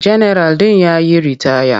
Janaral ɗin ya yi ritaya.